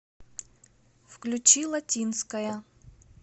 включи латинская